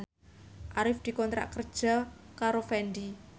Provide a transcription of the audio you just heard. Arif dikontrak kerja karo Fendi